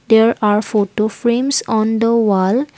there are photo frames on the wall.